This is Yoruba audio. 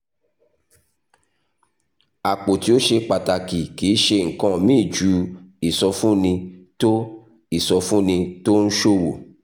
àpò tí ó ṣe pàtàkì kì í ṣe nǹkan míì ju ìsọfúnni tó ìsọfúnni tó ń ṣòwò